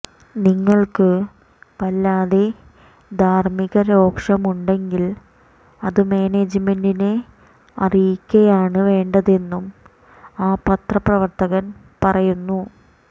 നിങ്ങൾക്ക് വല്ലാതെ ധാർമ്മികരോഷമുണ്ടെങ്കിൽ അത് മാനേജ്മെന്റിനെ അറിയിക്കയാണ് വേണ്ടതെന്നും ആ പത്രപ്രവർത്തകൻ പറയുന്നു